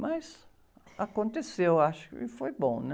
Mas aconteceu, acho que foi bom, né?